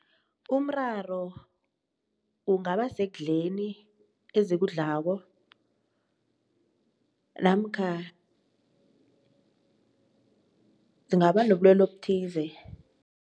Umraro ungaba sekudleli ezikudlako namkha zingaba nobulwelwe obuthize.